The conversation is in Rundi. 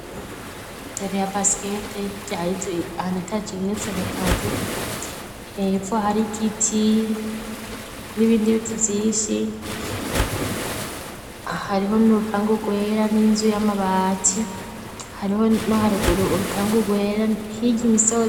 Tere ya basikete, hirya hari inzu anetaje igeretse gatatu, hepfo hari igiti n'ibindi biti vinshi, hariho n'urupangu rwera, n'inzu y'amabati, hariho no haruguru urupangu rwera, hirya n'imisozi.